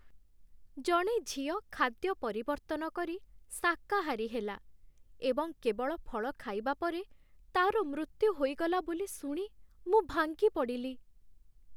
ଜଣେ ଝିଅ ଖାଦ୍ୟ ପରିବର୍ତ୍ତନ କରି ଶାକାହାରୀ ହେଲା, ଏବଂ କେବଳ ଫଳ ଖାଇବା ପରେ ତା'ର ମୃତ୍ୟୁ ହୋଇଗଲା ବୋଲି ଶୁଣି ମୁଁ ଭାଙ୍ଗି ପଡ଼ିଲି।